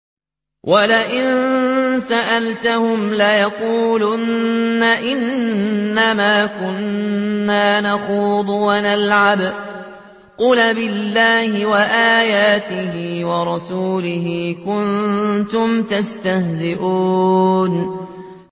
وَلَئِن سَأَلْتَهُمْ لَيَقُولُنَّ إِنَّمَا كُنَّا نَخُوضُ وَنَلْعَبُ ۚ قُلْ أَبِاللَّهِ وَآيَاتِهِ وَرَسُولِهِ كُنتُمْ تَسْتَهْزِئُونَ